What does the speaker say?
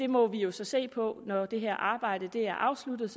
må vi jo så se på når det her arbejde er afsluttet